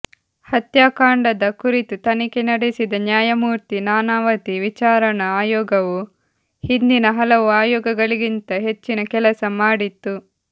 ಹತ್ಯಾಕಾಂಡದ ಕುರಿತು ತನಿಖೆ ನಡೆಸಿದ ನ್ಯಾಯಮೂರ್ತಿ ನಾನಾವತಿ ವಿಚಾರಣಾ ಆಯೋಗವು ಹಿಂದಿನ ಹಲವು ಆಯೋಗಗಳಿಗಿಂತ ಹೆಚ್ಚಿನ ಕೆಲಸ ಮಾಡಿತ್ತು